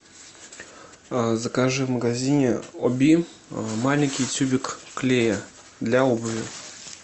закажи в магазине оби маленький тюбик клея для обуви